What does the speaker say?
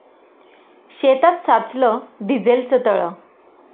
शेतात साचलं डिझेलचं तळं